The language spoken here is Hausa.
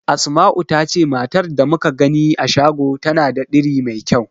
Asma'u ta ce matar da muka gani a shago tana da diri mai kyau.